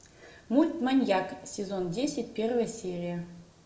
мульт маньяк сезон десять первая серия